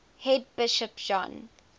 head bishop john